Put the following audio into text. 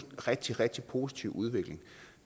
rigtig rigtig positiv udvikling